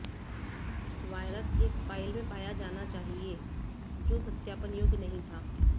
virus एक file में पाया जाना चाहिए जो सत्यापन योग्य नहीं था